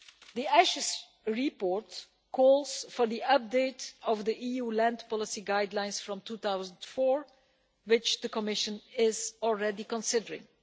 The Assis report calls for the updating of the EU land policy guidelines from 2004, which the Commission is already considering.